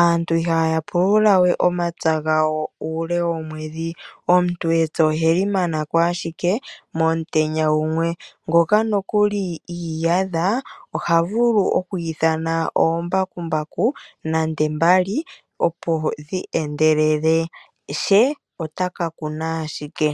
aantu ihaya pululawe omapya gawo uule womwedhi. Omuntu epya oheli mana ko ashike monutenya gumwe, ngoka nokuli iiyadha, oha vulu okwiithana oombakumbaku nande mbali opo dhi endelele, she ota ka kuna ashike.